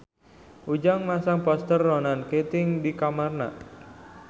Ujang masang poster Ronan Keating di kamarna